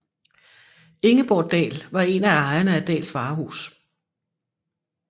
Ingeborg Daell var en af ejerne af Daells Varehus